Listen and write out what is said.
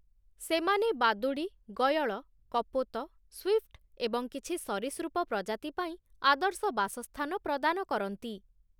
ସେମାନେ ବାଦୁଡ଼ି, ଗୟଳ, କପୋତ, ସ୍ୱିଫ୍ଟ ଏବଂ କିଛି ସରୀସୃପ ପ୍ରଜାତି ପାଇଁ ଆଦର୍ଶ ବାସସ୍ଥାନ ପ୍ରଦାନ କରନ୍ତି ।